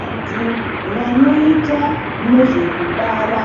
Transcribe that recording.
Vantu vanoita nezvekubara